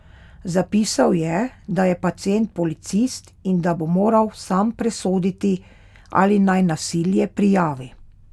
Zapisal je, da je pacient policist in da bo moral sam presoditi, ali naj nasilje prijavi.